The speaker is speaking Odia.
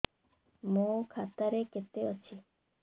ମୋ ଖାତା ରେ କେତେ ଅଛି